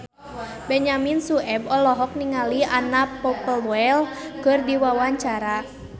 Benyamin Sueb olohok ningali Anna Popplewell keur diwawancara